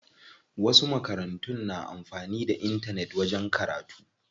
Wasu makarantun na amfanin da intanet wajen karatu.